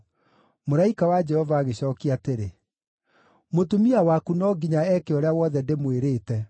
Mũraika wa Jehova agĩcookia atĩrĩ, “Mũtumia waku no nginya eeke ũrĩa wothe ndĩmwĩrĩte.